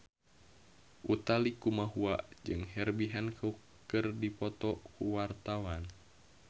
Utha Likumahua jeung Herbie Hancock keur dipoto ku wartawan